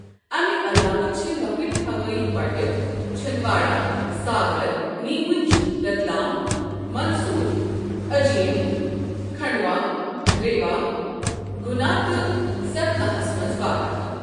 امہِ علاوٕ چھ لۄکٕٹۍ ہوٲیی پٹہٕ چھندواڑہ، ساگر، نیمٕچ، رتلام، مندسور، اجین، کھنڈوا، ریوا، گنا تہٕ ستنا ہَس منٛز واقع۔